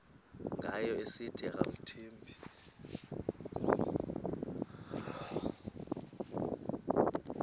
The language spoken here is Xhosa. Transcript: ngayo esithi akamthembi